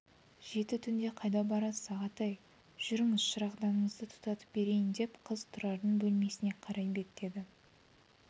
жеті түнде қайда барасыз ағатай жүріңіз шырағданыңызды тұтатып берейін деп қыз тұрардың бөлмесіне қарай беттеді